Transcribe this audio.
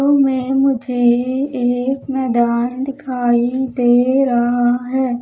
उ में मुझे एक मैदान दिखाई दे रहा है।